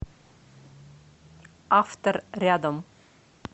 автор рядом